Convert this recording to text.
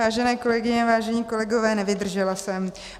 Vážené kolegyně, vážení kolegové, nevydržela jsem.